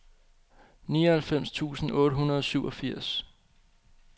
nioghalvfems tusind otte hundrede og syvogfirs